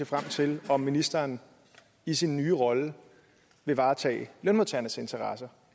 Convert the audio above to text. frem til om ministeren i sin nye rolle vil varetage lønmodtagernes interesser